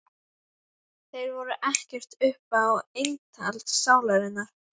Þeir voru ekkert upp á eintal sálarinnar.